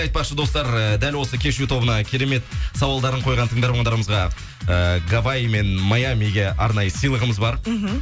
айтпақшы достар эээ дәл осы кешью тобына керемет сауалдарын қойған тындармандарымызға э гаваий мен маямиге арнайы сыйлығымыз бар мхм